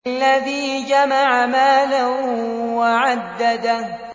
الَّذِي جَمَعَ مَالًا وَعَدَّدَهُ